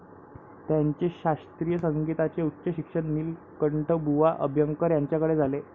त्यांचे शास्त्रीय संगीताचे उच्च शिक्षण नीलकंठबुवा अभ्यंकर यांच्याकडे झाले.